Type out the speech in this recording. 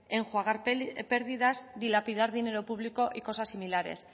enjuagar pérdidas dilapidar dinero público y cosas similares